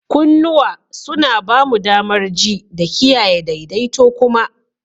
Kunnuwa suna ba mu damar ji da kiyaye daidaito kuma.